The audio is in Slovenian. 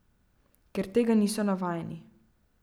Ker tega niso navajeni.